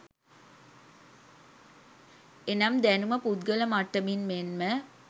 එනම් දැනුම පුද්ගල මට්ටමින් මෙන්ම